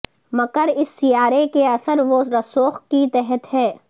مکر اس سیارے کے اثر و رسوخ کے تحت ہے